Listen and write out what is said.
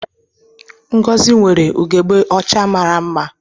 Ngozi nwere ugegbe ọcha mara mma